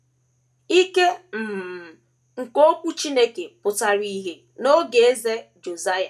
Ike um nke Okwu Chineke pụtara ìhè n’oge Eze Josaịa.